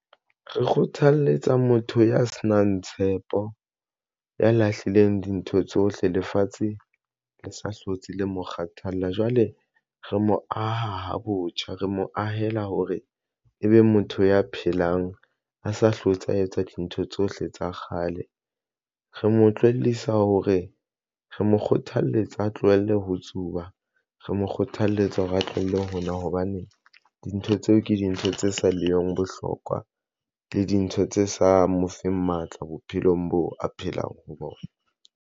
Re kgothaletsa motho ya senang tshepo, ya lahlileng dintho tsohle lefatshe le sa hlotse le mo kgathalla jwale re mo aha botjha, re mo ahela hore ebe motho ya phelang, a sa hlotse, a etsa dintho tsohle tsa kgale. Re mo tlohellisa hore re mo kgothalletsa a tlohelle ho tsuba, re mo kgothaletsa hore a tlohelle ho nwa hobane dintho tseo ke dintho tse sa leng bohlokwa, le dintho tse sa mo fe matla bophelong bo a phelang ho bona.